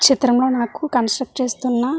ఈ చిత్రమ్ లో మనకు కాన్స్ట్రుక్ట్ చేస్తున్న --